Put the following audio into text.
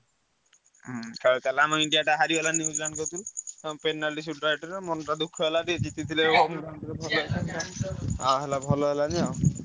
ଖେଳ ଥିଲା ଆମ ଇଣ୍ଡିଆ ଟା ହରିଗଲା ନିଉଜିଲାଣ୍ଡ କତିରୁ ମନଟା ଦୁଃଖ ହେଇଗଲା ଆ ହେଲା ଭଲ ହେଲାଣି ଆଉ।